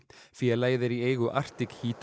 félagið er í eigu Arctic